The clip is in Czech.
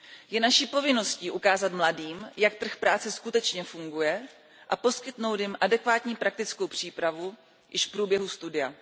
Je naší povinností ukázat mladým, jak trh práce skutečně funguje, a poskytnout jim adekvátní praktickou přípravu již v průběhu studia.